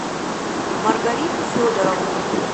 маргариту федоровну